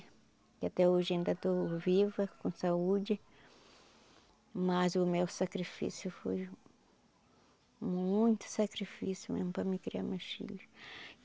E até hoje ainda estou viva, com saúde, mas o meu sacrifício foi muito sacrifício mesmo para mim criar meus filhos.